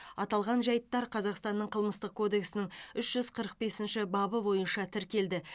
аталған жайттар қазақстанның қылмыстық кодексінің үш жүз қырық бесінші бабы бойынша тіркелді